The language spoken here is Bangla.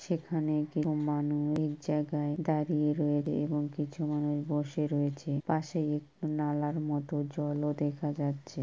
সেখানে কেউ এক জায়গায় দাঁড়িয়ে রয়ে এবং কিছু মানুষ বসে রয়েছে পাশে একটু নালার মতো জলও দেখা যাচ্ছে।